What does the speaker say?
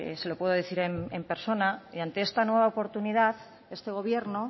se lo puedo decir en persona y ante esta nueva oportunidad este gobierno